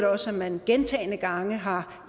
også at man gentagne gange har